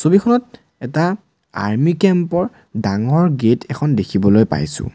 ছবিখনত এটা army camp ৰ ডাঙৰ গেট এখন দেখিবলৈ পাইছোঁ।